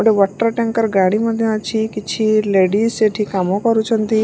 ଗୋଟିଏ water tanker ଗାଡ଼ି ମଧ୍ୟ ଅଛି କିଛି ଲେଡିଜ୍ ସେଠି କାମ କରୁଛନ୍ତି।